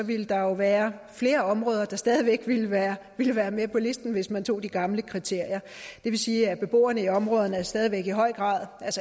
ville der være flere områder der stadig væk ville være ville være med på listen hvis man tog de gamle kriterier det vil sige at beboerne i områderne stadig væk i høj grad